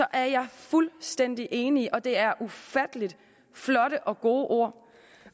er jeg fuldstændig enig og det er ufattelig flotte og gode ord